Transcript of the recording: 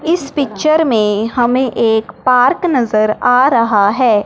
इस पिक्चर में हमें एक पार्क नजर आ रहा है।